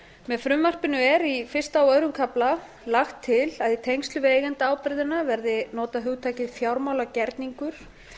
með frumvarpinu er í fyrsta og öðrum kafla lagt til að í tengslum við eigendaábyrgðina verði notað hugtakið fjármálagerningur